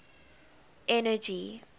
energy